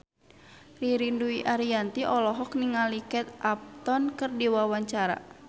Ririn Dwi Ariyanti olohok ningali Kate Upton keur diwawancara